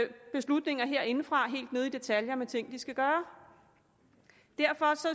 beslutninger herindefra helt ned i detaljen om ting de skal gøre derfor